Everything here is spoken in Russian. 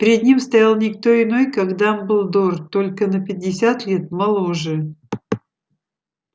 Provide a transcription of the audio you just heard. перед ним стоял не кто иной как дамблдор только на пятьдесят лет моложе